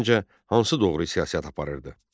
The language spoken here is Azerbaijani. Səncə hansı doğru siyasət aparırdı?